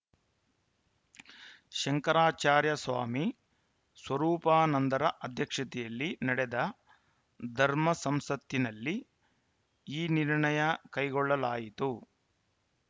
ಶಂಕರಾಚಾರ್ಯ ಸ್ವಾಮಿ ಸ್ವರೂಪಾನಂದರ ಅಧ್ಯಕ್ಷತೆಯಲ್ಲಿ ನಡೆದ ಧರ್ಮಸಂಸತ್ತಿನಲ್ಲಿ ಈ ನಿರ್ಣಯ ಕೈಗೊಳ್ಳಲಾಯಿತು